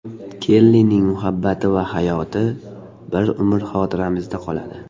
Kellining muhabbati va hayoti bir umr xotiramizda qoladi.